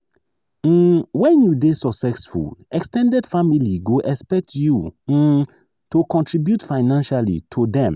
um when you dey successful ex ten ded family go expect you um to contribute financially to dem.